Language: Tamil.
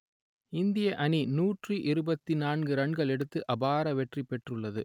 இந்திய அணி நூற்று இருபத்தி நான்கு ரன்கள் எடுத்து அபார வெற்றி பெற்றுள்ளது